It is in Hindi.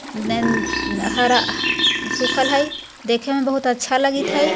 थेन हरा सुखल हाय देखें में बहुत अच्छा लगित हाय।